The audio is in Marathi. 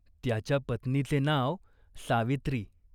त्याच्या पत्नीचे नाव सावित्री.